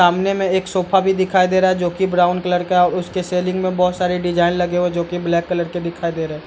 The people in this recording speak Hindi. सामने में एक सोफा भी दिखाई दे रहा है जो कि ब्राउन कलर का है और उसके सेलिंग में बहोत सारे डिजाइन लगे हुए जो की ब्लैक कलर के दिखाई दे रहे।